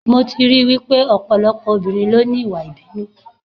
Mo ti rí I wípé ọ̀pọ̀lọpọ̀ obìnrin ló ní Ìwà ìbínú.